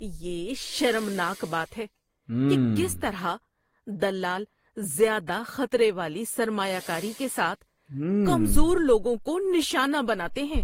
یہ شرمناک بات ہے کہ کس طرح دلال زیادہ خطرے والی سرمایہ کاری کے ساتھ کمزور لوگوں کو نشانہ بناتے ہیں۔